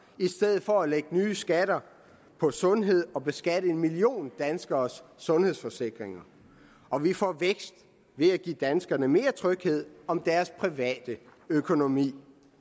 i stedet for at lægge nye skatter på sundhed og beskatte en million danskeres sundhedsforsikringer og vi får vækst ved at give danskerne mere tryghed om deres private økonomi